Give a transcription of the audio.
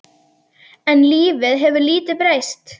En lífið hefur lítið breyst.